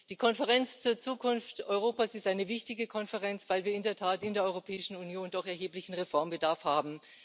Die Konferenz zur Zukunft Europas ist eine wichtige Konferenz, weil wir in der Tat in der Europäischen Union doch erheblichen Reformbedarf haben.